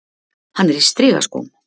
Hann er í strigaskóm.